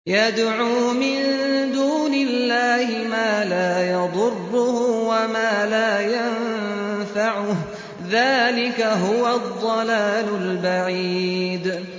يَدْعُو مِن دُونِ اللَّهِ مَا لَا يَضُرُّهُ وَمَا لَا يَنفَعُهُ ۚ ذَٰلِكَ هُوَ الضَّلَالُ الْبَعِيدُ